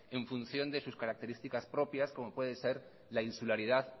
en función de sus características propias como pueden ser la insularidad